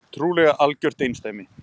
Trúlega algjört einsdæmi